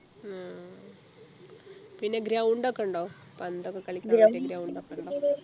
ഉം പിന്നെ ground ഒക്കെ ഉണ്ടോ പന്തൊക്കെ കളിക്കുന്ന മറ്റേ ground ഒക്കെ ഇണ്ടോ